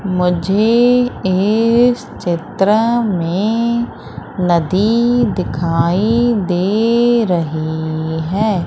मुझे इस चित्र में नदी दिखाई दे रही हैं।